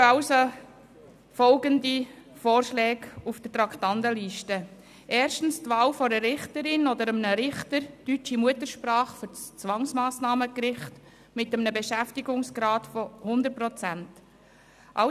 Heute stehen folgende Vorschläge auf der Traktandenliste: Erstens die Wahl einer Richterin oder eines Richters deutscher Muttersprache für das kantonale Zwangsmassnahmengericht, mit einem Beschäftigungsgrad von 100 Prozent.